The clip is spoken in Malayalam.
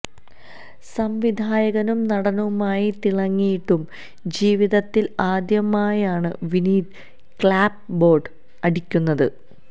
സംവിധായകനും നടനുമായി തിളങ്ങിയിട്ടും ജീവിതത്തില് ആദ്യമായാണ് വിനീത് ക്ലാപ് ബോര്ഡ് അടിക്കുന്നത്